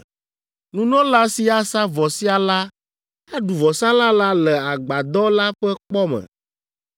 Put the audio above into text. Nunɔla si asa vɔ sia la aɖu vɔsalã la le Agbadɔ la ƒe kpɔ me.